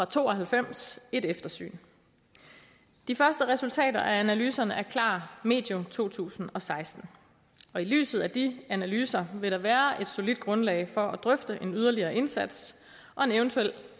to og halvfems et eftersyn de første resultater af analyserne er klar medio to tusind og seksten i lyset af de analyser vil der være et solidt grundlag for at drøfte en yderligere indsats og en eventuel